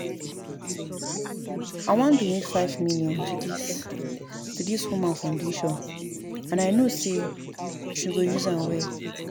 I wan donate five million to dis to dis woman foundation and I know say she go use am well